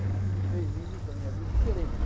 Só que eu escrevi três livros da minha vida diferentes.